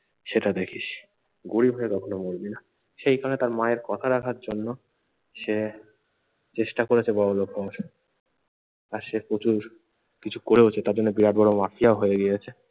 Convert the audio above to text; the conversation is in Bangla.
সেটা দেখিস, গরিব হয়ে কখনো মরবি না। সেই কারণে তার মায়ের কথা রাখার জন্য সে চেষ্টা করেছে বড়লোক হওয়ার। আর সে প্রচুর কিছু করেওছে, তার জন্য বিরাট বড়ো মাফিয়াও হয়ে গিয়েছে।